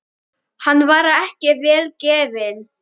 Hann var ekki vel gefinn.